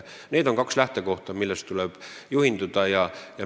Need on kaks lähtekohta, millest tuleb juhinduda.